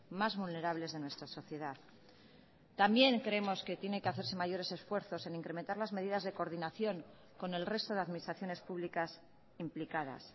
más vulnerables de nuestra sociedad también creemos que tiene que hacerse mayores esfuerzos en incrementar las medidas de coordinación con el resto de administraciones públicas implicadas